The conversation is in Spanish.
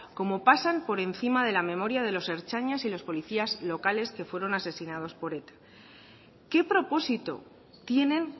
cómo pasan por encima de la memoria de los ertzainas y de los policías locales que fueron asesinados por eta qué propósito tienen